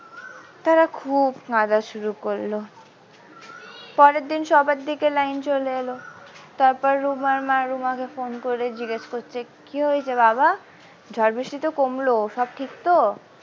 তারা খুব কাঁদা শুরু করলো পরের দিন সবার দিকে লাইন চলে এলো তারপর রুমার মা রুমাকে phone করে জিজ্ঞেস করছে কি হয়েছে বাবা ঝড় বৃষ্টি তো কমলো সব ঠিক তো।